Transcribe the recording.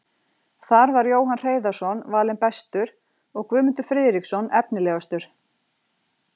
Þar var Jóhann Hreiðarsson valinn bestur og Guðmundur Friðriksson efnilegastur.